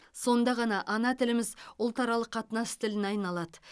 сонда ғана ана тіліміз ұлтаралық қатынас тіліне айналады